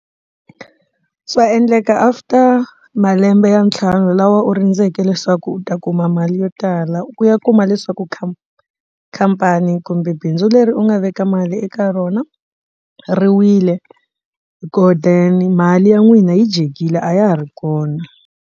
Swa endleka after malembe ya ntlhanu lawa u rindzele leswaku u ta kuma mali yo tala u ya kuma leswaku kha khampani kumbe bindzu leri u nga veka mali eka rona ri wile so then mali ya n'wina yi dyekile a ya ha ri kona.